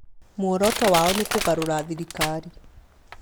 Muoroto wao nĩ kũgarũra thirikari